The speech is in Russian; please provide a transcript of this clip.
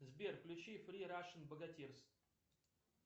сбер включи фри рашен богатирс